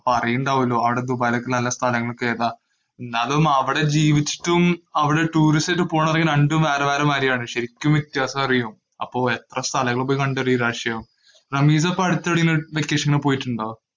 അപ്പൊ അറിയുന്നുണ്ടാവുലോ അവിടെ ദുബായിലുള്ള സ്ഥലങ്ങളൊക്കെ ഏതാ. എന്നാലും അവിടെ ജീവിച്ചിട്ടും അവിടെ ടൂറിസത്തിനു പോകുകയാണെ രണ്ടും വേറെ വേറെയാണ്. ശരിക്കും വ്യത്യാസം അറിയും. അപ്പൊ എത്ര സ്ഥലങ്ങള് പോയി കണ്ടില്ലെങ്കി നിരാശയാവും റമീസ പഠിച്ച നു പോയിട്ടുണ്ടോ?